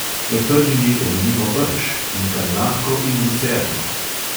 Med prvimi omenimo rž, inkarnatko in lucerno.